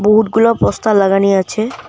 বহুটগুলো poster লাগানি আছে।